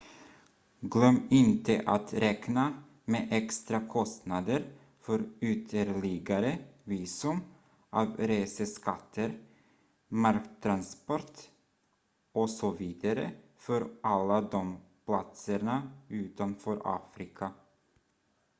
glöm inte att räkna med extra kostnader för ytterligare visum avreseskatter marktransport osv för alla de platserna utanför afrika